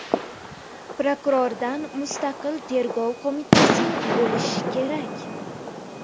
Prokurordan mustaqil tergov qo‘mitasi bo‘lishi kerak.